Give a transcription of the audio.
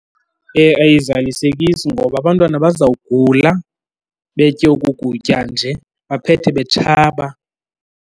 Ayizalisekisi ngoba abantwana bazawugula betye oku kutya nje, baphethe betshaba.